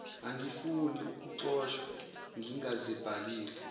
angifuni ukuxoshwa ngingazibhalile